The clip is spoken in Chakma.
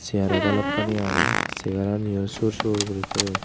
chair o balokkani aage chair ani o sur sur guri toyon.